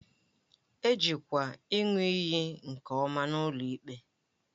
E jikwa ịṅụ iyi nke ọma n'ụlọ ikpe